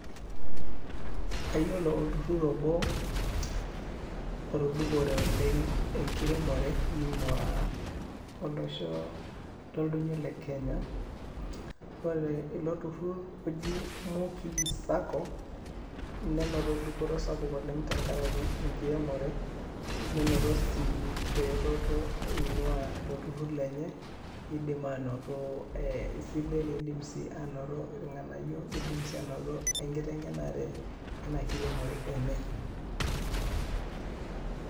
Ayiolo olturrur obo otudupore oleng' enkiremore neing'ua olosho loldoinyo le Kenya. Ore ilo turrur oji Muki sacco, nenoto dupoto sapuk oleng' tenkarake enkiremore, nenoto sii eretoto eing'ua ilo turrur lenye eidim aanoto silen, eidim sii anoto ilng'anayio, eidim sii aanoto enkiteng'enare eina kiremore enye.